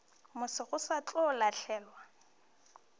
moso go se tlo lahlelwa